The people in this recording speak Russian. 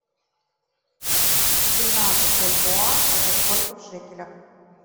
семнадцать бальбоа это сколько в шекелях